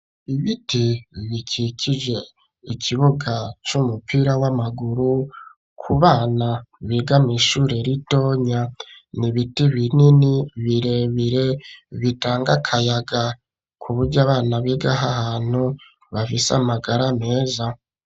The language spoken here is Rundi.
Ibiti bikikije ikibuga c'umupira w'amaguru ku bana biga mw'ishure ritonya n'ibiti binini birebire bitanga akayaga, ku buryo abana bigaho ahantu bafise amagara meza.